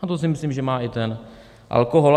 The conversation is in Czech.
A to si myslím, že má i ten alkohol.